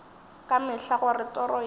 ka mehla gore toro yeo